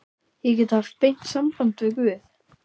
Ég get haft beint samband við guð.